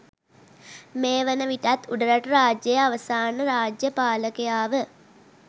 මේ වන විටත් උඩරට රාජ්‍යයේ අවසාන රාජ්‍ය පාලකයා ව